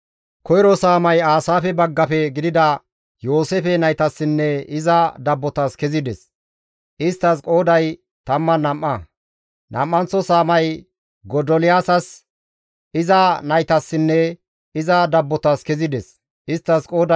Koyro saamay Aasaafe baggafe gidida Yooseefe naytassinne iza dabbotas kezides; isttas qooday 12; nam7anththo saamay Godoliyaasas, iza naytassinne iza dabbotas kezides; isttas qooday 12.